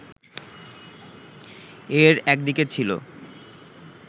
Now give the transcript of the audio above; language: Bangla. এর একদিকে ছিল